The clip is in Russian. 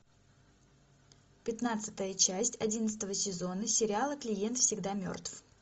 пятнадцатая часть одиннадцатого сезона сериала клиент всегда мертв